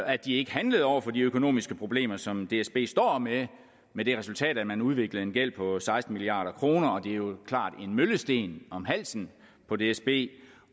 at de ikke handlede over for de økonomiske problemer som dsb står med med det resultat at man udviklede en gæld på seksten milliard kroner det er jo klart en møllesten om halsen på dsb